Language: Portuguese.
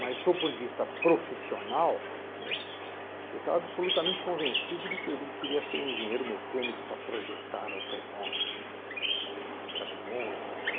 Mas, do ponto de vista profissional, né, eu estava absolutamente convencido de que alí queria ser um engenheiro mecânico para projetar automóveis, caminhões